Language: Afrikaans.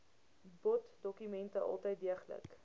boddokumente altyd deeglik